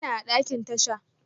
Ina a ɗakin tasha.